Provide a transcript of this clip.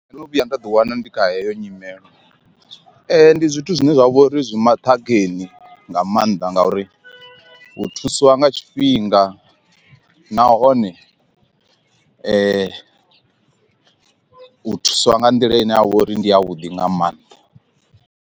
Ndo no vhuya nda ḓi wana ndi kha heyo nyimelo ndi zwithu zwine zwa vhori zwi maṱhakheni nga maanḓa ngauri hu thusiwa nga tshifhinga nahone u thuswa nga nḓila ine ha vha uri ndi ya vhuḓi nga maanḓa.